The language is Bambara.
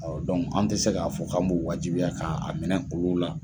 an ti se k'a fɔ k'an b'u wajibiya k'a minɛ olu la.